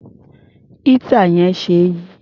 Éétà yẹn ṣe é yí.